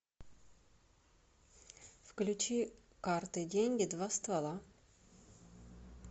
включи карты деньги два ствола